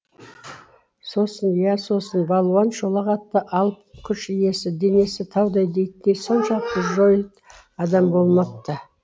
сосын иә сосын балуан шолақ атты алып күш иесі денесі таудай дейтіндей соншалықты жойыт адам болмапты